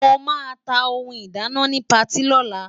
Mo máa ta ohun ìdáná ni patí lọ́la.